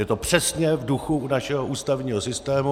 Je to přesně v duchu našeho ústavního systému.